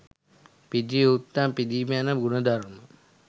පිදිය යුත්තන් පිදීම යන ගුණ ධර්ම